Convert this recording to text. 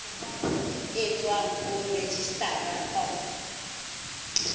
e tswang ho registrar of